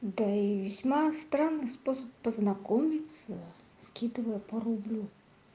да и весьма странный способ познакомиться скидывая по рублю